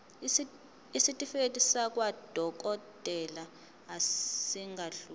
isitifiketi sakwadokodela esingadluli